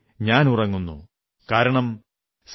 ഉസീ തരഹ് സേനാനീ മേരാ ഭീ ഹൈ ശത് ശത് നമൻ തുമ്ഹേം